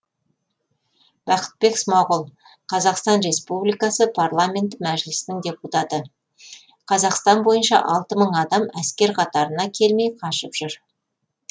бақытбек смағұл қазақстан республикасы парламенті мәжілісінің депутаты қазақстан бойынша алты мың адам әскер қатарына келмей қашып жүр